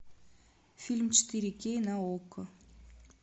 фильм четыре кей на окко